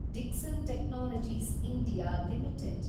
Dixon technologies (India) limited